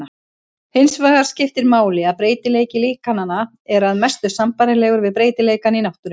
Hinsvegar skiptir máli að breytileiki líkananna er að mestu sambærilegur við breytileikann í náttúrunni.